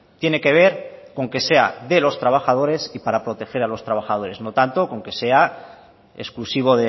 tiene que ver con que sea de los trabajadores y para proteger a los trabajadores no tanto con que sea exclusivo